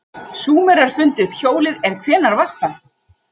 Súmerar fundu upp hjólið en hvenær var það?